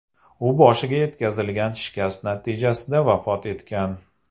U boshiga yetkazilgan shikast natijasida vafot etgan.